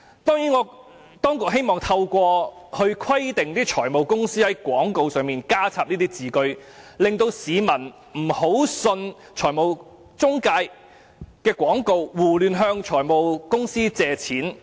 當局希望透過規定財務公司在廣告中加入這句，市民便不會輕易相信財務中介的廣告，胡亂向財務公司借錢。